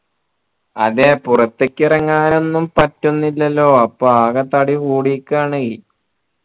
അതെ പുറത്തിക്ക് ഇറങ്ങാൻ ഒന്നും പറ്റുന്നില്ലല്ലോ അപ്പൊ ആകെ തടി കൂടിക്കെയാണേ